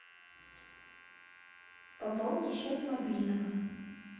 пополни счет мобильного